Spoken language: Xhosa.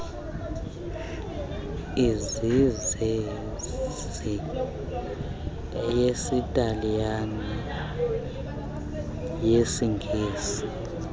ezizezi eyesitaliyane nyesingesi